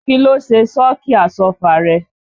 Kí ló ṣe sọ́ọ̀kì Àsọ́fà rẹ?